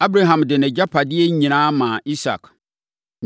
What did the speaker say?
Abraham de nʼagyapadeɛ nyinaa maa Isak.